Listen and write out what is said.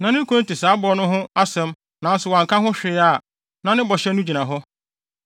na ne kunu no te saa bɔhyɛ no ho asɛm nanso wanka ho hwee a, na ne bɔhyɛ no gyina hɔ.